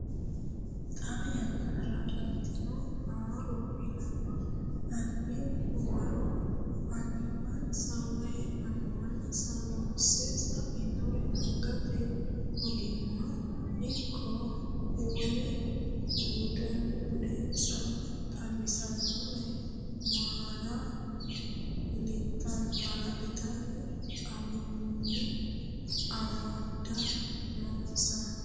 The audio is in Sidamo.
Xaa yannara ilantino haaro ilama albi waro annuwinsa woy amuwinsa loosse sa inore angate ogimma ikko wole budensa xawisannore maala litanni awunni amada noonsa.